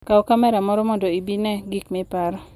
Kaw kamera moro mondo ibi ine gik miparo.